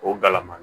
O galama